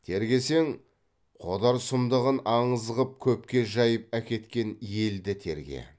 тергесең қодар сұмдығын аңыз қып көпке жайып әкеткен елді терге